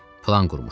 Plan qurmuşdu.